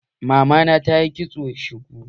Mamana ta na yin kitson shuku.